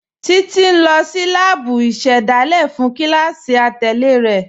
Títi n lọ sí láàbú ìṣẹ́dálẹ̀ fún kílásí àtẹlẹ̀ rẹ.